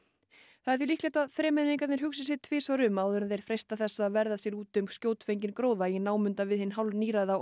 það er líklegt að þremenningarnir hugsi sig tvisvar um áður en þeir freista þess að verða sér út um skjótfenginn gróða í námunda við hinn